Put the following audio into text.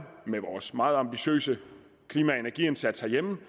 med vores meget ambitiøse klima og energiindsats herhjemme